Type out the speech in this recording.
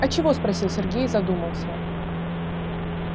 а чего спросил сергей задумался